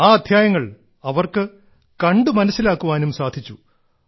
ആ അദ്ധ്യായങ്ങൾ അവർക്ക് കണ്ട് വിഷ്യുഅലി മനസ്സിലാക്കാനും സാധിച്ചു